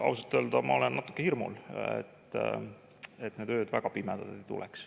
Ausalt öelda, ma olen natuke hirmul ja loodan, et need ööd väga pimedad ei tule.